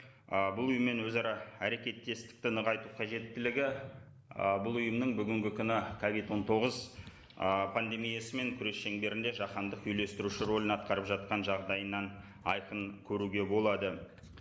ы бұл ұйыммен өзара әрекеттестікті нығайту қажеттілігі ы бұл ұйымның бүгінгі күні ковид он тоғыз ы пандемиясымен күрес шеңберінде жаһандық үйлестіруші рөлін атқарып жатқан жағдайынан айқын көруге болады